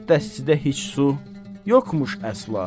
Dəstidə heç su yoxmuş əsla.